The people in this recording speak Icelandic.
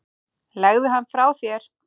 Legðu hann frá þér